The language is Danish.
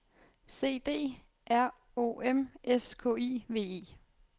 C D R O M S K I V E